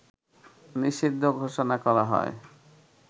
নিষিদ্ধ ঘোষণা করা হয়